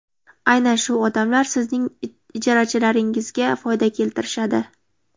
Aynan shu odamlar sizning ijarachilaringizga foyda keltirishadi.